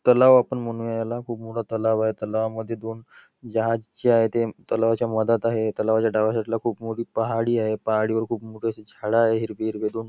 तलाव आपण म्हणून याला खूप मोठा तलाव आहे तलावामध्ये दोन जहाज जे आहेत ते तलावाच्या मधात आहे तलावाच्या डाव्या साईड ला खूप मोठी पहाडी आहे पहाडीवर खूप मोठे असे झाडे आहे हिरवे हिरवे दोन.